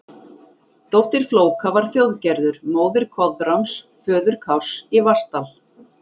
Dóttir Flóka var Þjóðgerður, móðir Koðráns, föður Kárs í Vatnsdal.